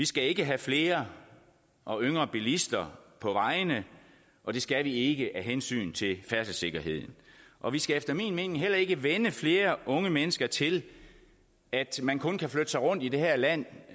skal have flere og yngre bilister på vejene og det skal vi ikke af hensyn til færdselssikkerheden og vi skal efter min mening heller ikke vænne flere unge mennesker til at man kun kan flytte sig rundt i det her land